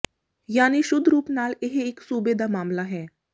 ਯਾਨੀ ਸ਼ੁੱਧ ਰੂਪ ਨਾਲ ਇਹ ਇਕ ਸੂਬੇ ਦਾ ਮਾਮਲਾ ਹੈ